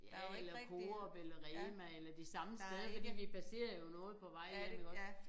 Ja eller Coop eller Rema eller de samme steder fordi vi baserer jo noget på vej hjem iggå